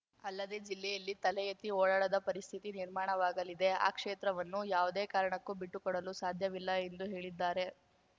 ಅಲ್ಲದೆ ಜಿಲ್ಲೆಯಲ್ಲಿ ತಲೆಎತ್ತಿ ಓಡಾಡದ ಪರಿಸ್ಥಿತಿ ನಿರ್ಮಾಣವಾಗಲಿದೆ ಆ ಕ್ಷೇತ್ರವನ್ನು ಯಾವುದೇ ಕಾರಣಕ್ಕೂ ಬಿಟ್ಟುಕೊಡಲು ಸಾಧ್ಯವಿಲ್ಲ ಎಂದು ಹೇಳಿದ್ದಾರೆ